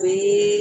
Bɛɛ